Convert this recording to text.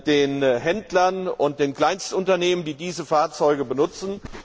den Händlern und den Kleinstunternehmen, die diese Fahrzeuge benutzen.